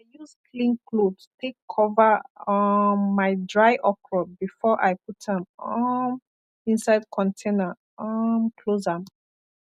i use clean cloth take cover um my dry okro before i put am um inside container um close am